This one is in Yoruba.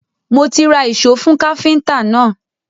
Mo ti ra ìṣó fún káfíntà náà.